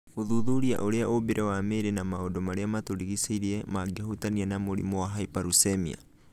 Gũthuthuria ũrĩa ũmbĩre wa mĩrĩ na maũndu marĩa matũrigicĩirie mangĩhutania na mũrimũ wa hyperuricemia.